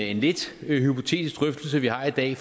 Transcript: en lidt hypotetisk drøftelse vi har i dag